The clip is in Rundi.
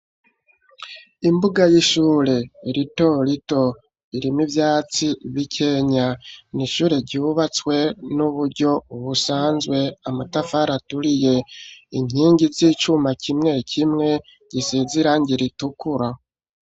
Imbuga, y'ishure rito rito, irimwo ivyatsi bikenya; ni ishure ryubatswe n'uburyo busanzwe; amatafari aturiye, inkingi z'icuma kimwe kimwe, gisize irangi ritukura.